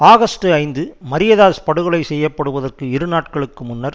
August ஐந்து மரியதாஸ் படுகொலை செய்ய படுவதற்கு இரு நாட்களுக்கு முன்னர்